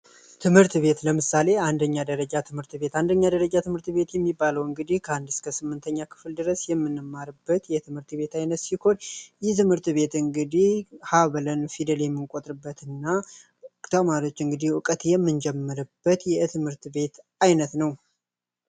ትምህርት ቤት ለምሳሌ አንደኛ ደረጃ ትምህርት ቤት አንደኛ ደረጃ ትምህርት ቤት የሚባለው እንግዲህ ከአንድ እስከ ስምንተኛ ክፍል ድረስ የምንማርበት የትምህርት ቤት አይነት ቤት እንግዲ ፊደል የሚቆጥሩበትና ተማሪዎች እንግዲህ እውቀት የምንጀምርበት የትምህርት ቤት አይነት ነው